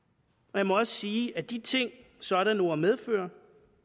og jeg må også sige at de ting sådanne ord medfører